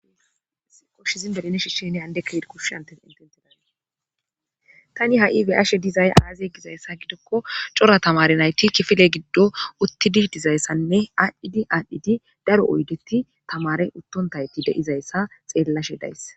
koshshizin deline shishshenne andekka hid kush antes intenteda tani ha7i weashe dizay aaziey gizayssa gidokko cora tamare nayti kifile giddo uttidi dizayssanne aadhdhidi aadhdhidi daro oydeti tamare uttontayti de7izayssa xeellashe days